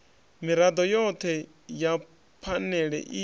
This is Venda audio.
mirado yothe ya phanele i